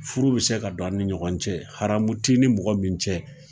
Furu bɛ se ka don a ni ɲɔgɔn cɛ, haramu ti ni mɔgɔ min cɛ